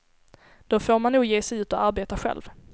Då får man nog ge sig ut och arbeta själv.